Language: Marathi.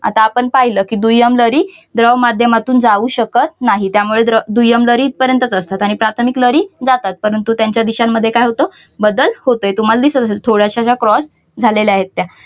आता आपण पाहिलं कि दुय्यम लहरी द्रव माध्यमातून जाऊ शकत नाहीत. त्यामुळे दुय्यम लहरी इथपर्यंतच असतात. आणि प्राथमिक लहरी जातात. परंतु त्यांच्या दिशांमध्ये काय होत बदल होतय. तर तुम्हाला दिसत असलं. थोड्याशा ज्या cross झालेल्या आहेत त्या